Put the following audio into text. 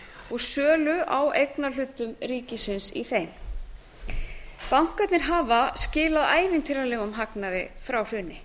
og sölu á eignarhluta ríkisins í þeim bankarnir hafa skilað ævintýralegum hagnaði frá hruni